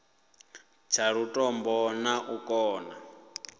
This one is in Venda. tsha lutombo na u kona